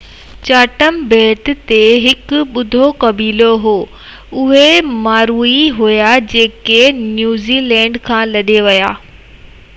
Chatham ٻيٽ تي هڪ ٻيو قبيلو هو اهي مائوري هئا جيڪي نيوزي لينڊ کان لڏي ويا هئا